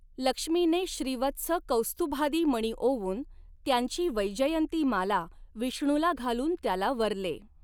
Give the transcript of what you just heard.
लक्ष्मीने श्रीवत्स कौस्तुभादि मणी ओवून त्यांची वैजयंती माला विष्णूला घालून त्याला वरले.